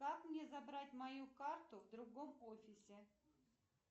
как мне забрать мою карту в другом офисе